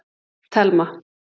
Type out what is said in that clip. Telma